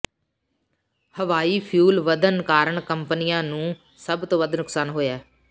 ਹਵਾਈ ਫਿਊਲ ਵਧਣ ਕਾਰਨ ਕੰਪਨੀਆਂ ਨੂੰ ਸਭ ਤੋਂ ਵੱਧ ਨੁਕਸਾਨ ਹੋਇਆ